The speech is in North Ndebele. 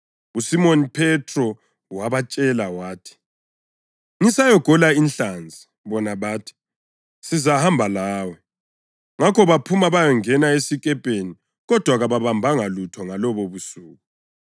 USimoni Phethro wabatshela wathi, “Ngisayagola inhlanzi” bona bathi, “Sizahamba lawe.” Ngakho baphuma bayangena esikepeni kodwa kababambanga lutho ngalobobusuku.